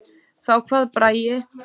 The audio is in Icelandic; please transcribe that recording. Þá kvað Bragi